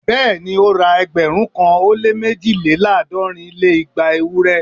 Bẹ́ẹ̀ni ó ra ẹgbẹ̀rún kan ó lé méjìléláàádọ́rin lé igba ewúrẹ́